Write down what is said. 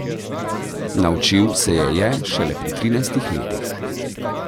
Naučil se je je šele pri trinajstih letih.